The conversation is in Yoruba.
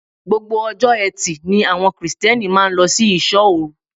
Gbogbo ọjọ́ eti ni àwọn Kirìtẹ́nì máa ń lọ sí ìṣó-òru.